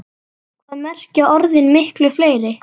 Hvað merkja orðin miklu fleiri?